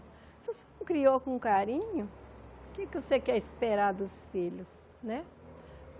Se você não criou com carinho, o que é que você quer esperar dos filhos, né?